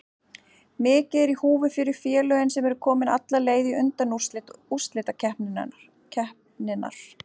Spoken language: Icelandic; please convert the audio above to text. Mikið er í húfi fyrir félögin sem eru komin alla leið í undanúrslit úrslitakeppninnar.